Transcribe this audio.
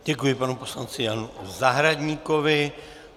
Děkuji panu poslanci Janu Zahradníkovi.